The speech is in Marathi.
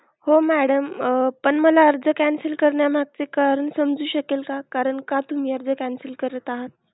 हो madam पण मला आर्ज cancel करण्या मागचे कारण समजू शकेल का? कारण का तुम्ही आर्ज cancel करत आहात?